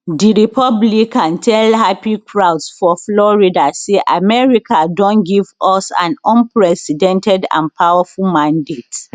di republican tell happy crowds for florida say america don give us an unprecedented and powerful mandate